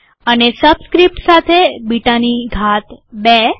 અને સબસ્ક્રીપ્ટ સાથે બીટાની ઘાત ૨